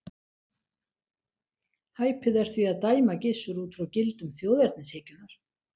Hæpið er því að dæma Gissur út frá gildum þjóðernishyggjunnar.